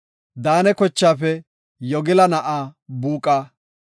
Daane kochaafe Yogila na7aa Buuqa;